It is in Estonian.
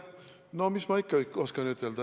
No mis ma ikka oskan ütelda?